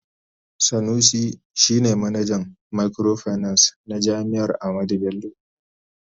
Sanusi shi ne manajan microfinance na jami'ar Ahmadu Bello.